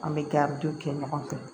An bɛ kɛ an bɛ to kɛ ɲɔgɔn fɛ